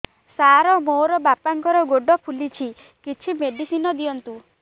ସାର ମୋର ବାପାଙ୍କର ଗୋଡ ଫୁଲୁଛି କିଛି ମେଡିସିନ ଦିଅନ୍ତୁ